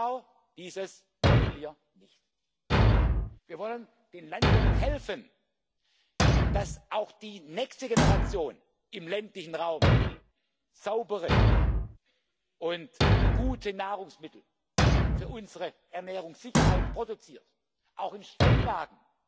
Genau dieses wollen wir nicht! Wir wollen den Landwirten helfen, damit auch die nächste Generation im ländlichen Raum saubere und gute Nahrungsmittel für unsere Ernährungssicherheit produziert, auch in Steillagen